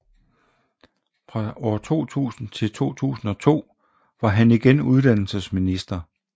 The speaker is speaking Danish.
Fra 2000 til 2002 var ham igen uddannelsesminister